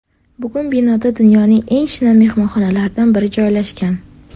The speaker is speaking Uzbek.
Bugun binoda dunyoning eng shinam mehmonxonalaridan biri joylashgan.